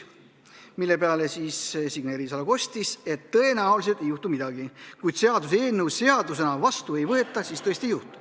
Selle peale Signe Riisalo kostis, et tõenäoliselt ei juhtu midagi, kui seaduseelnõu seadusena vastu ei võeta.